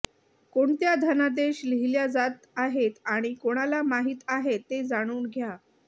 कोणत्या धनादेश लिहील्या जात आहेत आणि कोणाला माहित आहे ते जाणून घ्या